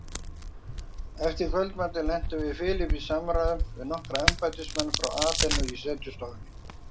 Eftir kvöldmatinn lentum við Philip í samræðum við nokkra embættismenn frá Aþenu í setustofunni.